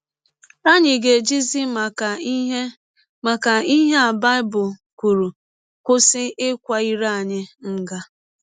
Ànyị ga - ejizi maka ihe maka ihe a Baịbụl kwụrụ kwụsị ịkwa ire anyị nga?